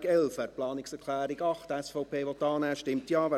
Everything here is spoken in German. Wer die Planungserklärung 8, SVP, annehmen will, stimmt Ja.